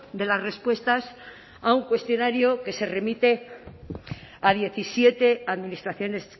de las respuestas a un cuestionario que se remite a diecisiete administraciones